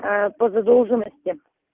по задолженности